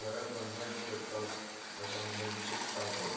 appointment set ਕਰਦੋ appointment fix ਕਰਦੋ